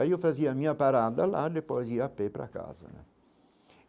Aí eu fazia a minha parada, lá depois ia à pé para casa né.